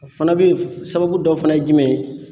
O fana bɛ sababu dɔ fana ye jumɛn ye